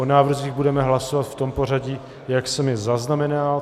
O návrzích budeme hlasovat v tom pořadí, jak jsem je zaznamenal.